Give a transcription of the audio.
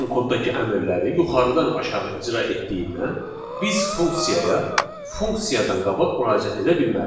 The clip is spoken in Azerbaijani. Python koddakı əmrləri yuxarıdan aşağı icra etdiyindən biz funksiyaya funksiyadan qabaq müraciət edə bilmərik.